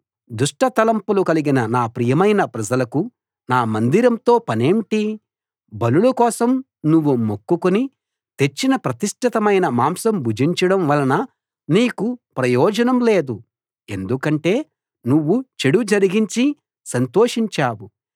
దుష్ట తలంపులు కలిగిన నా ప్రియమైన ప్రజలకు నా మందిరంతో పనేంటి బలుల కోసం నువ్వు మొక్కుకుని తెచ్చిన ప్రతిష్ఠితమైన మాంసం భుజించడం వలన నీకు ప్రయోజనం లేదు ఎందుకంటే నువ్వు చెడు జరిగించి సంతోషించావు